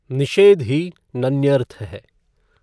निषेध ही नञर्थ है।